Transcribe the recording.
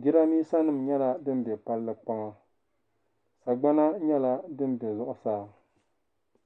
jiran bisa nim nyɛla din be palli kpaŋa sagbana nyɛla dim be zuɣu saa.